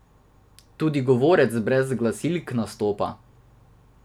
Tudi govorec brez glasilk nastopa!